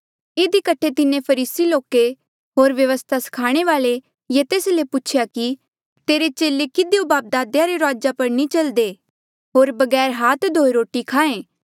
इधी कठे तिन्हें फरीसी लोके होर व्यवस्था स्खाणे वाल्ऐ ये तेस ले पूछेया कि तेरे चेले किधियो बापदादेया रे रूआजा पर नी चल्दे होर बगैर हाथ धोये रोटी खाहें